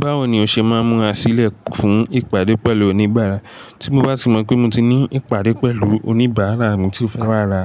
Báwo ni o ṣe máa ń múra sílẹ̀ fún ìpàdé pẹ̀lú oníbàárà? Tí mo bá ti mọ̀ pé mo ti ní ìpàdé pẹ̀lú oníbàárà mi tí ó fẹ́ wà ra